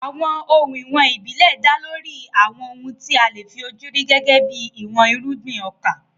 Àwọn ohun ìwọ̀n ìbílẹ̀ dá lórí àwọn ohun tí a lè fi ojú rí gẹ́gẹ́ bí ìwọ̀n irúgbìn ọkà.